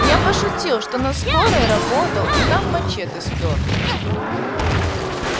я пошутил что на скорой работал и там мачете спёр